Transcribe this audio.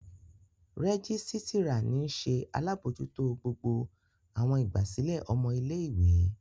Rẹgisitira ni nṣe alabojuto gbogbo awọn igbasilẹ ọmọ ile-iwe.